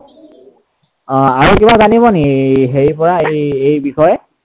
অ আৰু কিবা জানিব নেকি হেৰিৰ পৰা এই বিষয়ে?